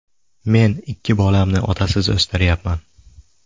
Men ikki bolamni otasiz o‘stiryapman.